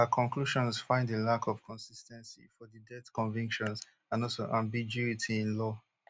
her conclusions find a lack of consis ten cy for di death convictions and also ambiguity in law